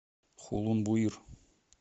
хулун буир